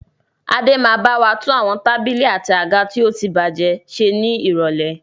Adé yìí ó bawa tún àwọn tábìlì àti àga tí ótibájẹ́ ṣe ni irọ̀lẹ́.